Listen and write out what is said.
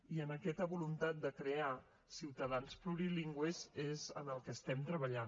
i en aquesta voluntat de crear ciutadans plurilingües és en el que estem treballant